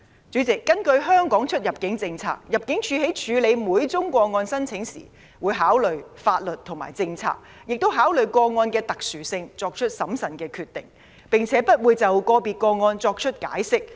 主席，根據香港出入境政策，入境處在處理每宗個案申請時，會按照法律和政策，考慮個案的特殊性後才作出審慎的決定，並且不會就個別個案作出解釋。